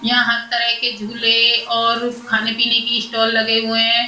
यहाँ हर तरह के झूले और खाने-पीने की स्टॉल लगे हुए हैं।